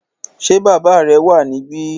Ṣé bàbá rẹ wà níbí?